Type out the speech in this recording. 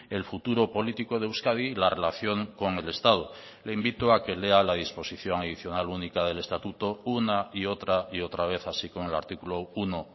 el futuro político de euskadi y la relación con el estado le invito a que lea la disposición adicional única del estatuto una y otra y otra vez así como el artículo uno